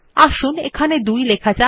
আসুন এখানে 2 লেখা যাক